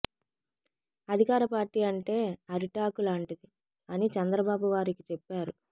అధికార పార్టీ అంటే అరిటాకు లాంటిది అని చంద్రబాబు వారికి చెప్పారు